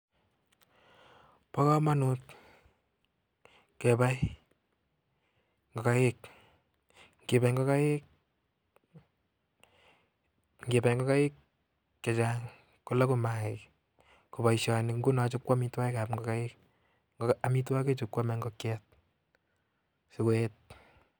Po kamuuunt kepai ngokaik ngipai ngokaik chechang kolagu maiik ko poishani ko paishet ap amitwagik ap.ingokaik